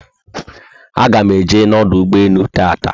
Aga m eje na ọdụ ụgbọelu tata